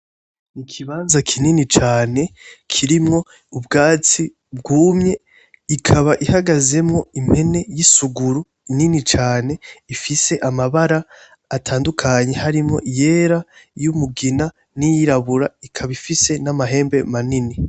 Ikibanza kinini cane kirimwo ubwatsi bwumye, ikaba ihagazemwo impene yisuguru nini cane ifise amabara atandukanye harimwo; iryera, iyumugina n'iyirabura ikaba ifise namahembe manini.